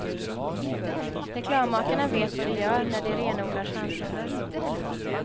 Reklammakarna vet vad de gör när de renodlar könsroller.